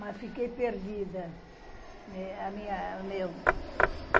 Mas fiquei perdida. meu